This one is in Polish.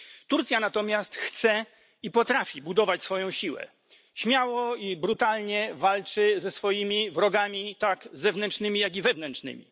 Turcja natomiast chce i potrafi budować swoją siłę śmiało i brutalnie walczy ze swoimi wrogami, tak zewnętrznymi, jak i wewnętrznymi.